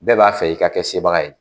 Bɛɛ b'a fɛ i ka kɛ sebaga ye